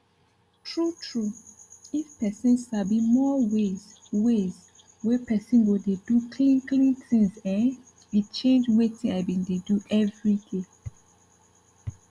true true if pesin sabi more ways ways wey pesin go dey do clean clean things eh e change wetin i bin dey do everyday